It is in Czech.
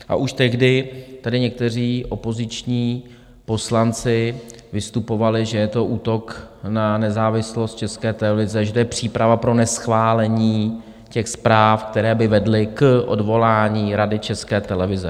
A už tehdy tady někteří opoziční poslanci vystupovali, že je to útok na nezávislost České televize, že to je příprava pro neschválení těch zpráv, které by vedly k odvolání Rady České televize.